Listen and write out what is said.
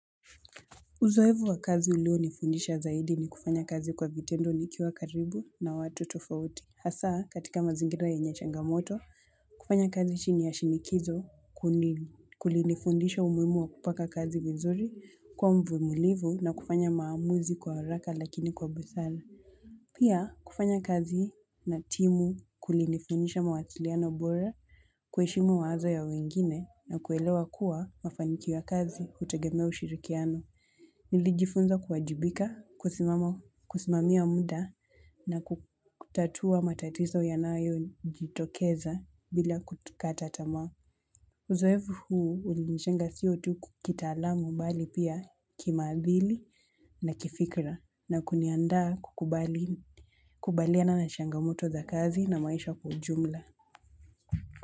Uzoevu wa kazi ulionifundisha zaidi ni kufanya kazi kwa vitendo nikiwa karibu na watu tofauti. Hasa, katika mazingira yenye changamoto, kufanya kazi chini ya shinikizo kulinifundisha umuimu wa kupaka kazi vizuri kwa mvuimulivu na kufanya maamuzi kwa oraka lakini kwa busala. Pia, kufanya kazi na timu kulinifundisha mawatiliano bora kweishimu mawazo ya wengine na kuelewa kuwa mafanikiwo ya kazi utegemea ushirikiano. Nilijifunza kuwajibika, kusimamia munda na kutatua matatizo ya nayo jitokeza bila kukatatama. Uzoevu huu ulinishenga siyo tuku kitalamu mbali pia kimaadhili na kifikra na kuniandaa kukubaliana na changamoto za kazi na maisha kwa ujumla.